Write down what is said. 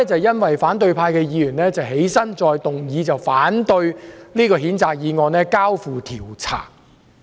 現時反對派議員再次提出議案，反對將這項譴責議案交付調查。